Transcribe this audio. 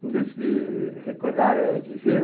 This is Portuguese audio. Não dizem que recordar é viver?